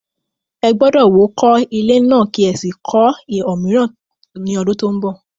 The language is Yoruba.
Ẹ gbọ́dọ̀ wó kọ́ ilé náà kí ẹ sì kọ́ òmíràn ní ọdún tó ń bọ̀.